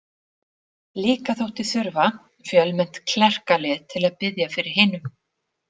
Líka þótti þurfa fjölmennt klerkalið til að biðja fyrir hinum.